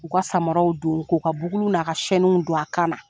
K'u ka samaraw don, k'u ka buguli n'a ka don a kan